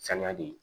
Sangadi